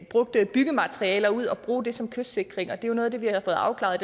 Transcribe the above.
brugte byggematerialer ud og bruge det som kystsikring og det er jo noget af det vi har fået afklaret